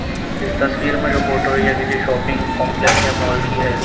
इस तस्वीर में जो फोटो है। ये किसी शॉपिंग कॉम्प्लेक्स या मॉल की है।